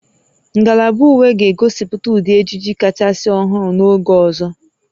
Ngalaba uwe ga-egosipụta ụdị ejiji kachasị ọhụrụ n'oge ọzọ